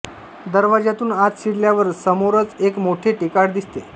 दरवाज्यातून आत शिरल्यावर समोरच एक माठे टेकाड दिसते